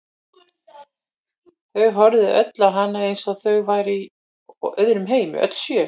Þau horfðu öll á hana eins og þau væru í öðrum heimi, öll sjö.